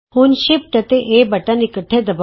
ਹੁਣ ਸ਼ਿਫਟ ਅਤੇ A button ਇਕੱਠੇ ਦਬਾੳ